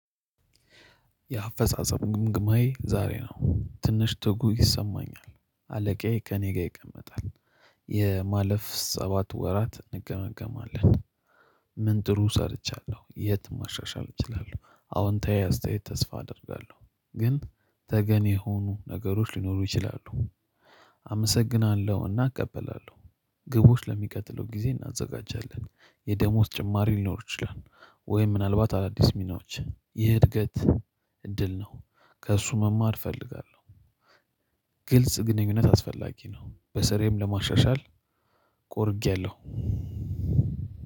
የአፈጻጸም ግምግማዬ ዛሬ ነው። ትንሽ ትጉ ይሰማኛል አለቃዬ ከእኔ ጋር ይቀመጣል የማለፍ ሰባት ወራት እንገመገማለን ምን ጥሩ ሰርቻለሁ የት ማሻሻል እችላለሁ? አዎንታዊ አስተያየት ተስፋ አደርጋለሁ፤ ግን ተገኔ ሆኖ ነገሮች ሊኖሩ ይችላሉ አመሰግናለሁና እቀበላለሁ ግቦች ለሚቀጥለው ጊዜ እናዘጋጃለን የደሞዝ ጭማሪ ሊኖር ይችላል ወይ ምናልባት አዳዲስ ሚናዎች ይህ እድገት እድል ነው። ከእሱ መማር እፈልጋለሁ ግልጽ ግንኙነት አስፈላጊ ነው በስሬም ለማሻሻል ቆርጌያለሁ